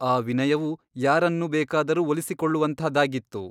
ಆ ವಿನಯವು ಯಾರನ್ನೂ ಬೇಕಾದರೂ ಒಲಿಸಿಕೊಳ್ಳುವಂಥದಾಗಿತ್ತು.